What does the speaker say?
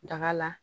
Daga la